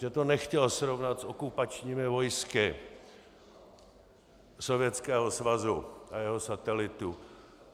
Že to nechtěl srovnat s okupačními vojsky Sovětského svazu a jeho satelitů.